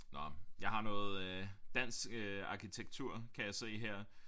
Nåh jeg har noget øh dansk arkitektur kan jeg se her